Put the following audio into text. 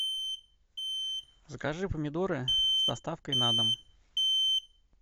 закажи помидоры с доставкой на дом